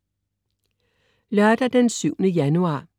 Lørdag den 7. januar